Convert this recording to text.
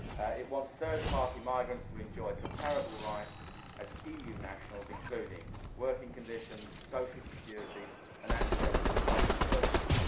It wants third party migrants to enjoy comparable rights to those of EU nationals, including working conditions, social security and access to public services.